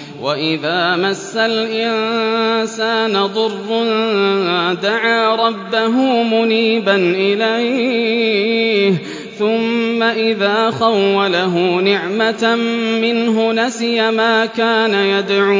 ۞ وَإِذَا مَسَّ الْإِنسَانَ ضُرٌّ دَعَا رَبَّهُ مُنِيبًا إِلَيْهِ ثُمَّ إِذَا خَوَّلَهُ نِعْمَةً مِّنْهُ نَسِيَ مَا كَانَ يَدْعُو